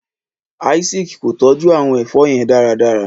Isaac kò tọjú àwọn èfó yén dáradára.